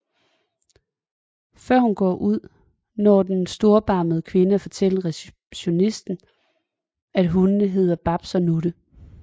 Før hun går ud når den storbarmede kvinde at fortælle receptionisten at hundene hedder Babs og Nutte